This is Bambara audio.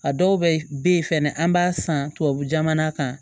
A dɔw bɛ ye fɛnɛ an b'a san tubabu jamana kan